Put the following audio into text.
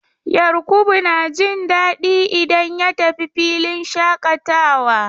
Yarkubu na jin daɗi idan ya tafi filin shaƙatawa.